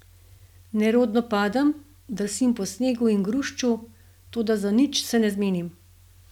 Nerodno padem, drsim po snegu in grušču, toda za nič se ne menim.